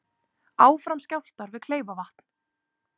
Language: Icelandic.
Áfram skjálftar við Kleifarvatn